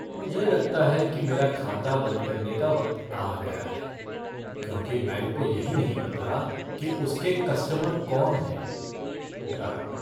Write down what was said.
मुझे लगता है कि मेरा खाता बंद करने का वक्त आ गया है, क्योंकि बैंक को यही नहीं पता कि उसके कस्टमर कौन हैं। ग्राहक